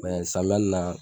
Mɛ samiya nin na